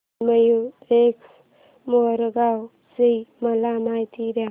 श्री मयूरेश्वर मोरगाव ची मला माहिती दे